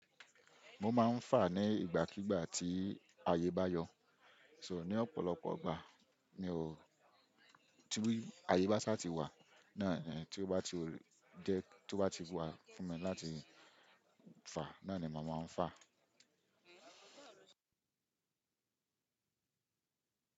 Mo máa ń fà ní ìgbàkígbà tí ayé bá yọ, so ní ọ̀pọ̀lọpọ̀ ìgbà mi ò-- tí ayé bá sá ti wà, náà ni tí ó bá ti jẹ́ tí ó bá ti wà fún mi láti fà, náà ni mo máa ń fà.